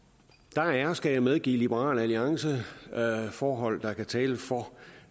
der er skal jeg medgive liberal alliance forhold der kan tale for